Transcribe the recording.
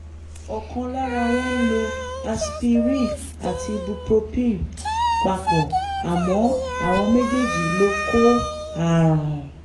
ọ̀kan lára wọn ń lo aspirin àti ibupropin papọ̀ àmọ́ àwọn méjèèjì ló kó ààrùn